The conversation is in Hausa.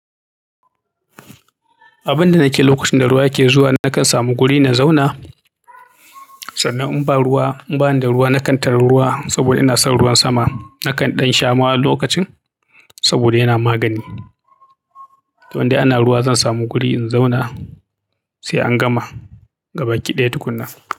Abin da nake lokacin da ruwa yake zuwa, nakan samu guri na zauna. Sannan in ba ruwa, in bani da ruwa, na kan tari ruwa saboda ina son ruwan sama. Nakan ɗan shama lokacin saboda yana magani. Wanda ana ruwa zan samu guri in zauna sai an gama. Ga baki ɗaya tukunna.